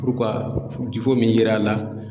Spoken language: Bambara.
min yera la.